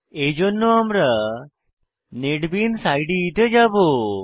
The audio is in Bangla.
এইজন্য আমরা নেটবিনস ইদে তে যাবো